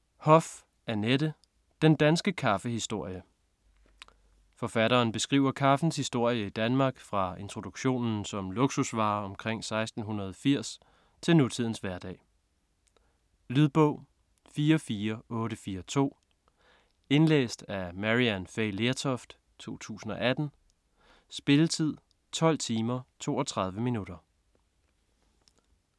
Hoff, Annette: Den danske kaffehistorie 2. del af Nydelsesmidlernes Danmarkshistorie. Forfatteren beskriver kaffens historie i Danmark fra introduktionen som luksusvare omkring 1680 til nutidens hverdag. Lydbog 44842 Indlæst af Maryann Fay Lertoft, 2018. Spilletid: 12 timer, 32 minutter.